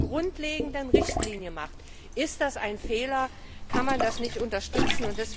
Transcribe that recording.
Wenn man das zur grundlegenden Richtlinie macht, ist das ein Fehler, und man kann das nicht unterstützen.